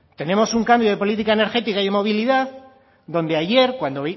tenemos un cambio de política energética y de movilidad donde ayer